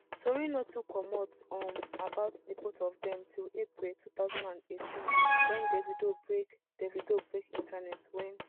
tori no too comot um about di both of dem till april two thousand and eighteen wen davido break davido break internet wen